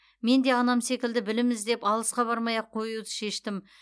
мен де анам секілді білім іздеп алысқа бармай ақ қоюды шештім